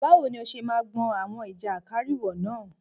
Báwo ni ó ṣe máa gbọn àwọn ìjàkárìwọ̀ náà?